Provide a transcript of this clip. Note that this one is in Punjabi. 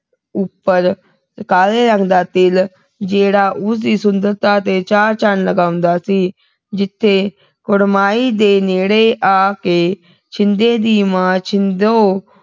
ਉਪਰ ਕਾਲੇ ਰੰਗ ਦਾ ਤਿਲ ਜਿਹੜਾ ਉਸਦੀ ਸੁੰਦਰਤਾ ਤੇ ਚਾਰ ਚੰਨ ਲਗਾਉਂਦਾ ਸੀ ਜਿਥੇ ਕੁੜਮਾਈ ਦੇ ਨੇੜੇ ਆਕੇ ਛਿੰਦੇ ਦੀ ਮਾਂ ਛਿੰਦੋ